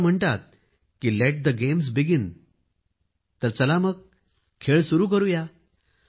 असं म्हणतात की लेट द गेम्स बिगीन चला तर मग खेळ सुरू करू या